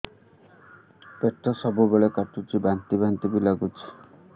ପେଟ ସବୁବେଳେ କାଟୁଚି ବାନ୍ତି ବାନ୍ତି ବି ଲାଗୁଛି